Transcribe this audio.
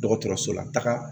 Dɔgɔtɔrɔso la taga